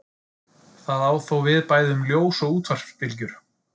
Það á þó við bæði um ljós og útvarpsbylgjur.